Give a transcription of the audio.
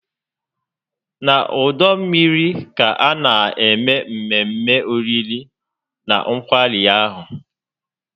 Na ọdọ mmiri ka a na-eme mmemme oriri na nkwari ahụ